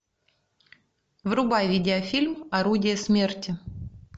врубай видеофильм орудие смерти